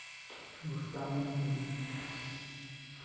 рустама никулина